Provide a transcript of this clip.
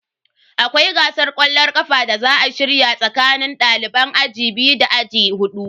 Akwai gasar kwallon kafa da za a shirya tsakanin daliban aji biyu da aji hudu.